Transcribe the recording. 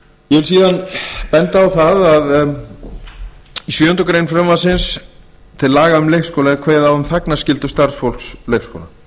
ég vil síðan benda á að í sjöundu greinar frumvarps til laga um leikskóla er kveðið á um þagnarskyldu starfsfólks leikskóla